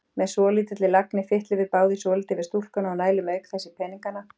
Með svolítilli lagni fitlum við báðir svolítið við stúlkuna og nælum auk þess í peningana.